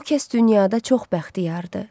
O kəs dünyada çox bəxtiyardır.